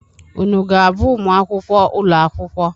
Unu ga-abụ ụmụ akwụkwọ ụlọ akwụkwọ?